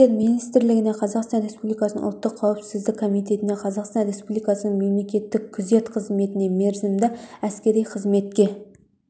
істер министрлігіне қазақстан республикасының ұлттық қауіпсіздік комитетіне қазақстан республикасының мемлекеттік күзет қызметіне мерзімді әскери қызметке